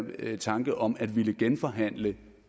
tanke om at ville genforhandle